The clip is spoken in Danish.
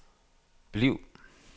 bliv